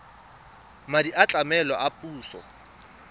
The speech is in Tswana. madi a tlamelo a puso